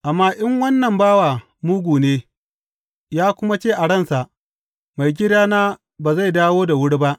Amma in wannan bawa mugu ne, ya kuma ce a ransa, Maigidana ba zai dawo da wuri ba.’